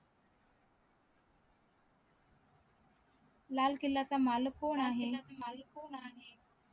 लाल किल्ल्याचा मालक कोण आहे